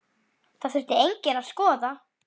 Það þurfi einnig að skoða.